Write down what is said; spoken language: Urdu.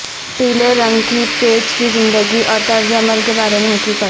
پیلے رنگ کی پیچ کی زندگی اور طرز عمل کے بارے میں حقیقت